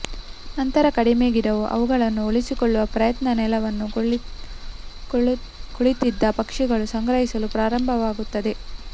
ನಂತರ ಕಡಿಮೆ ಗಿಡುಗ ಅವುಗಳನ್ನು ಉಳಿಸಿಕೊಳ್ಳುವ ಪ್ರಯತ್ನ ನೆಲವನ್ನು ಕುಳಿತಿದ್ದ ಪಕ್ಷಿಗಳು ಸಂಗ್ರಹಿಸಲು ಪ್ರಾರಂಭವಾಗುತ್ತದೆ